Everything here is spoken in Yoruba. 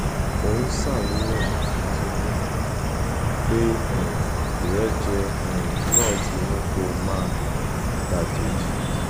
ó ń ṣàníyàn nítorí pé um ìrẹjẹ um náà ti mú kó máa dàjèjì